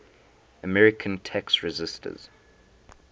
american tax resisters